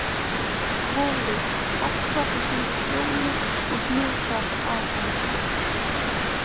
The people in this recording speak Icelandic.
Kolur hoppar í kringum Fjólu og hnusar að henni.